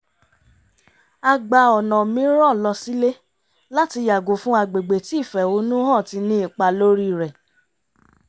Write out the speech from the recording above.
a gba ọ̀nà mìíràn lọ sílé láti yàgò fún agbègbè tí ìfẹ́honù hàn ti ní ipá lórí rẹ̀